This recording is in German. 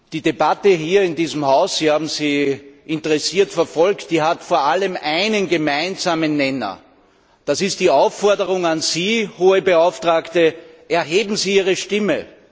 Die Debatte hier in diesem Haus Sie haben sie interessiert verfolgt hat vor allem einen gemeinsamen Nenner, und das ist die Aufforderung an Sie, Hohe Beauftragte Erheben Sie Ihre Stimme!